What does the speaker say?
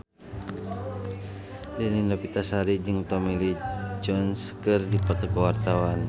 Dewi Novitasari jeung Tommy Lee Jones keur dipoto ku wartawan